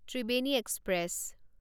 Triveni express